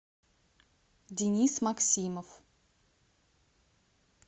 денис максимов